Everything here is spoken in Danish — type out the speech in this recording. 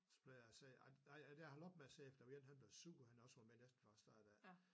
Så blev jeg se ej jeg er holdt op med at se efter fordi en han blev sur han også havde været med næsten fra start af